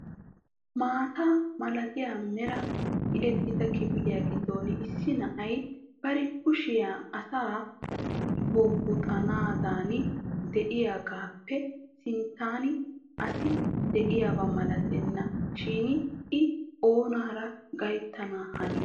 Maata malatiyaa meraa tiyyetida kifiliyaa giddon issi na'ay bari kushiyaa asa bubbuxxananiidi de'iyaagappe sinttan asi de'iyaaba malatena shin I oonaara gayttana hanii?